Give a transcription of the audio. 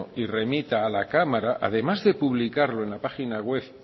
y remita a la cámara además de publicarlo en la página web